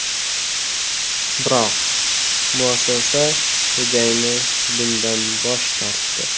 Biroq muassasa xo‘jayini bundan bosh tortdi.